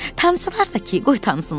Tanısalar da ki, qoy tanısınlar.